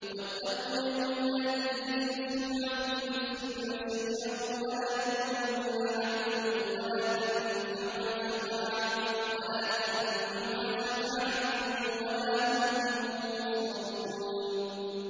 وَاتَّقُوا يَوْمًا لَّا تَجْزِي نَفْسٌ عَن نَّفْسٍ شَيْئًا وَلَا يُقْبَلُ مِنْهَا عَدْلٌ وَلَا تَنفَعُهَا شَفَاعَةٌ وَلَا هُمْ يُنصَرُونَ